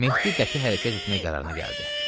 Mehdi qəti hərəkət etmək qərarına gəldi.